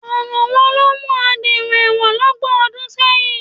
Ọ̀ràn wo ló mú ẹ dèrò ẹ̀wọ̀n lọ́gbọ̀n ọdún sẹ́yìn?